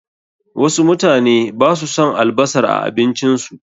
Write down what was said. Wasu mutane basu son albasar a abincin su.